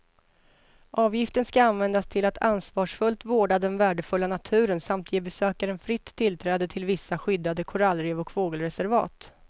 Avgiften ska användas till att ansvarsfullt vårda den värdefulla naturen samt ge besökaren fritt tillträde till vissa skyddade korallrev och fågelreservat.